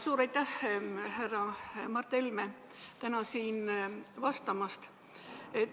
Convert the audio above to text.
Suur aitäh, härra Mart Helme, täna siin vastamast!